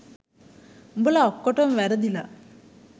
උඹලා ඔක්කොටම වැරදිලා